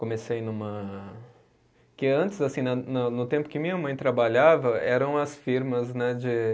Comecei numa. Porque antes assim, na no tempo que minha mãe trabalhava, eram as firmas, né, de